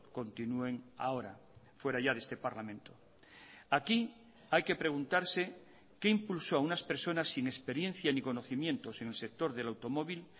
continúen ahora fuera ya de este parlamento aquí hay que preguntarse qué impulsó a unas personas sin experiencia ni conocimientos en el sector del automóvil